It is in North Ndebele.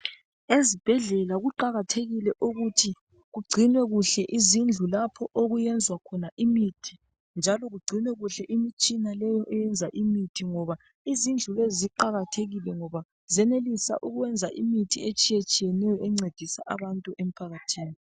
Ezibhedlela kuqakathekile ukuthi kugcinwe kuhle izindlu lapho okuyenzwa imithi .Njalo kugcinwe kuhle imitshina eyenza imithi. Ngoba izindlu lezi ziqakathekile ngoba ziyenelisa ukwenza imithi etshiye tshiyeneyo encedisa abantu emphakathini .